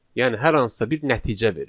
Yəni hər hansısa bir nəticə verir.